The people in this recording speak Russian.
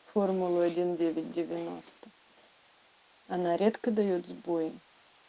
формулы один девять девяноста она редко даёт сбой